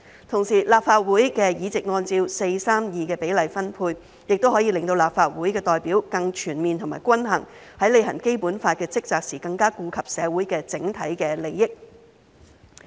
同時，立法會的議席按照 4：3：2 的比例分配，亦可以令立法會的代表更全面和均衡，在履行《基本法》的職責時更加顧及社會的整體利益。